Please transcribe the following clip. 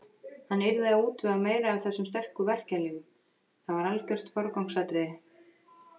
Hann yrði að útvega meira af þessum sterku verkjalyfjum, það var algert forgangsatriði.